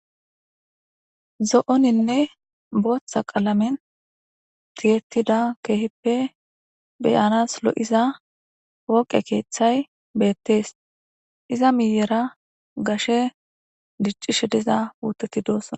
zo7oninne booththa qalamen tiyettida keehippe beyanas lo7iza pooqe keeththay beettees iza miyera gashe diccishe diza puuteti doosona